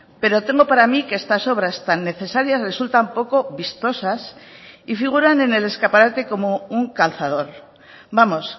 pero temo para mí que estas obras tan necesarias resultan poco vistosas y figuran en el escaparate como un calzador vamos